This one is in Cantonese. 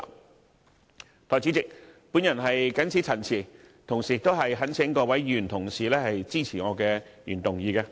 代理主席，我謹此陳辭，同時懇請各位議員支持我的原議案。